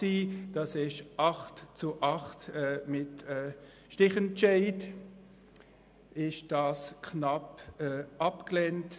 Mit 8 Ja- gegen 8 Nein-Stimmen wurde der Antrag mit dem Stichentscheid knapp abgelehnt.